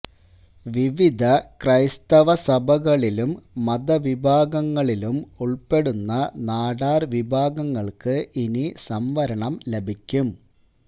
വിവിധ ക്രൈസ്തവ സഭകളിലും മത വിഭാഗങ്ങളിലും ഉള്പ്പെടുന്ന നാടാര് വിഭാഗങ്ങള്ക്ക് ഇനി സംവരണം ലഭിക്കും